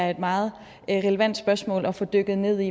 er meget relevante spørgsmål at få dykket ned i